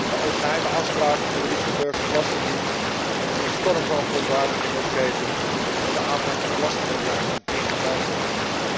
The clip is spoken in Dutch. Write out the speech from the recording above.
De ooit geheime afspraken van de Luxemburgse belastingdienst hebben een storm van verontwaardiging ontketend en de aanpak van belastingontwijking dichterbij gebracht.